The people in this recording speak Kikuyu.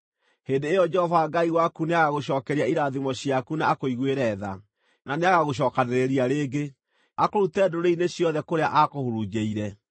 hĩndĩ ĩyo Jehova Ngai waku nĩagagũcookeria irathimo ciaku na akũiguĩre tha, na nĩagagũcookanĩrĩria rĩngĩ, akũrute ndũrĩrĩ-inĩ ciothe kũrĩa aakũhurunjĩire.